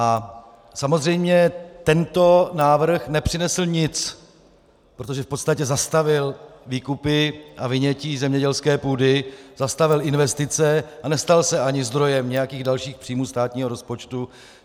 A samozřejmě tento návrh nepřinesl nic, protože v podstatě zastavil výkupy a vynětí zemědělské půdy, zastavil investice a nestal se ani zdrojem nějakých dalších příjmů státního rozpočtu.